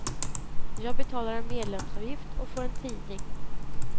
Jag betalar en medlemsavgift och får en tidning.